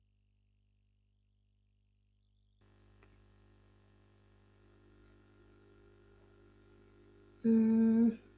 ਹਮ